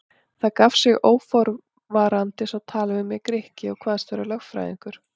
Þá gaf sig óforvarandis á tal við mig Grikki og kvaðst vera lögfræðingur.